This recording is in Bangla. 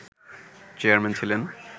চেয়ারম্যান ছিলেন